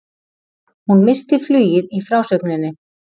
Hún missti flugið í frásögninni.